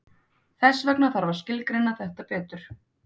Þess vegna þarf að skilgreina þetta betur.